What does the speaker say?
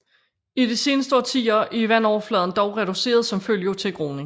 I de seneste årtier er vandfladen dog reduceret som følge af tilgroning